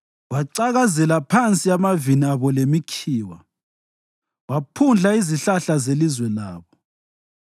wacakazela phansi amavini abo lemikhiwa, waphundla izihlahla zelizwe labo.